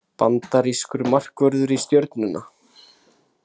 Bandarískur markvörður í Stjörnuna